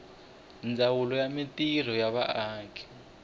ndzawulo ya mintirho ya vaaki